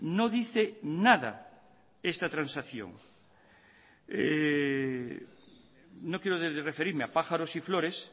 no dice nada esta transacción no quiero referirme a pájaros y flores